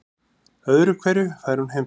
Öðru hverju fær hún heimþrá.